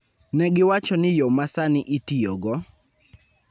Ne giwacho ni yo ma sani itiyogo,